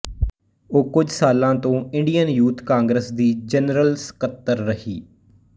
ਉਹ ਕੁਝ ਸਾਲਾਂ ਤੋਂ ਇੰਡੀਅਨ ਯੂਥ ਕਾਂਗਰਸ ਦੀ ਜਨਰਲ ਸੱਕਤਰ ਰਹੀ